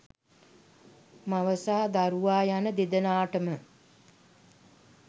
මව සහ දරුවා යන දෙදෙනාටම